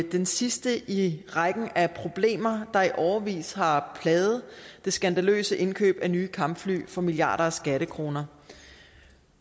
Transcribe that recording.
det sidste i rækken af problemer der er i årevis har plaget det skandaløse indkøb af nye kampfly for milliarder af skattekroner